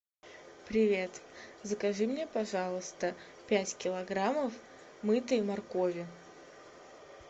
привет закажи мне пожалуйста пять килограммов мытой моркови